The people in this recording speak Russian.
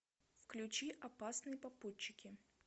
включи опасные попутчики